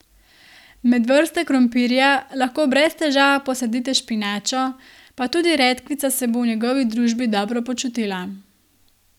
Med vrste krompirja lahko brez težav posadite špinačo, pa tudi redkvica se bo v njegovi družbi dobro počutila.